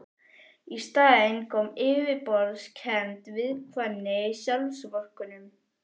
Í staðinn kom yfirborðskennd viðkvæmni, sjálfsvorkunn.